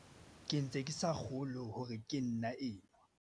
Ke ntse ke sa kgolwe hore ke nna enwa.